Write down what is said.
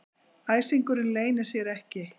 Æsingurinn leynir sér ekki.